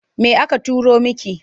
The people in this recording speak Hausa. Me aka turo miki?